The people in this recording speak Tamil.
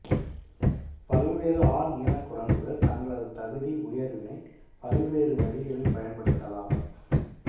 பல்வேறு ஆண் இனக் குரங்குகள் தங்களது தகுதி உயர்வினைப் பல்வேறு வழிகளில் பயன்படுத்தலாம்